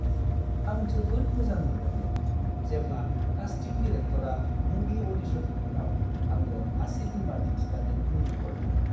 आं जोबोद मोजां मोनदोंमोन जेब्ला कास्टिं डिरेक्टरआ मुभि अ'डिशननि उनाव आंनो आसि बिमा दिन्थिनानै मिनिहरदोंमोन।